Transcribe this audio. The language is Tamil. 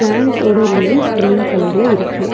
ப்ளான்ட்ஸ் ஓட லீவ்ஸ் கிரீன் கலர் ல இருக்கு.